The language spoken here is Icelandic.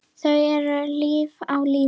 Þau eru enn á lífi.